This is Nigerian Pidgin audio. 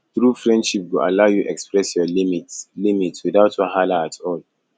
true friendship go allow you express your limits limits without wahala at all